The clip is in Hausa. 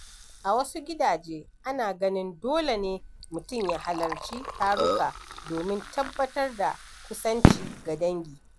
A wasu gidaje, ana ganin dole ne mutum ya halarci taruka domin tabbatar da kusanci ga dangi.